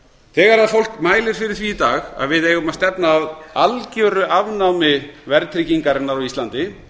þegar fólk mælir fyrir því í dag að við eigum að stefna á algjöru afnámi verðtryggingarinnar á íslandi